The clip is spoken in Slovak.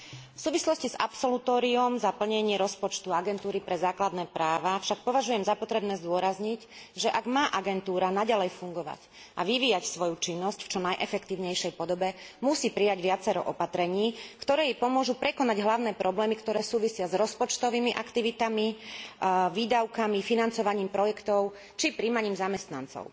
V súvislosti s absolutóriom za plnenie rozpočtu Agentúry pre základné práva však považujem za potrebné zdôrazniť, že ak má agentúra naďalej fungovať a vyvíjať svoju činnosť čo v najefektívnejšej podobe, musí prijať viacero opatrení, ktoré jej pomôžu prekonať hlavné problémy, ktoré súvisia s rozpočtovými aktivitami, výdavkami, financovaním projektov, či prijímaním zamestnancov.